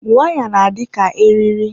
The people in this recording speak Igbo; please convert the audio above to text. Waya na-adị ka eriri.